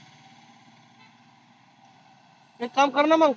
एक काम करना मग